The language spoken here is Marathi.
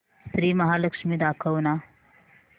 श्री महालक्ष्मी दाखव ना